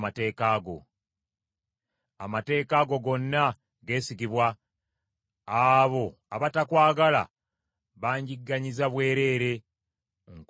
Amateeka go gonna geesigibwa; abo abatakwagala banjigganyiza bwereere; nkusaba onnyambe!